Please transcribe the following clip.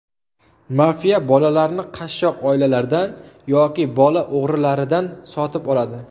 Mafiya bolalarni qashshoq oilalardan yoki bola o‘g‘rilaridan sotib oladi.